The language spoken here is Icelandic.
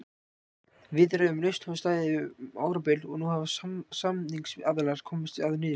Viðræður um lausn hafa staðið yfir um árabil en nú hafa samningsaðilar komist að niðurstöðu.